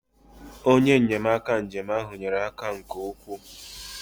onye nnyemaka njem ahụ nyere aka nke ukwuu